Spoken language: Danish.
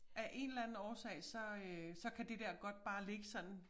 Af en eller anden årsag så øh så kan det der godt bare ligge sådan